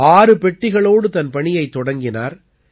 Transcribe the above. ஆறு பெட்டிகளோடு தன் பணியைத் தொடங்கினார்